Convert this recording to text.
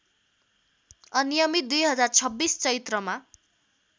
अनियमित २०२६ चैत्रमा